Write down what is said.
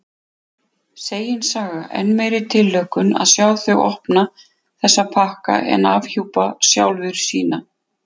Segin saga: enn meiri tilhlökkun að sjá þau opna þessa pakka en afhjúpa sjálfur sína.